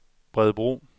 Bredebro